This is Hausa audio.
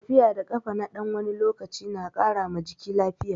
Tafiya da kafa na ɗan wani lokaci na ƙara ma jiki lafiya.